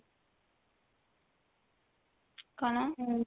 କଣ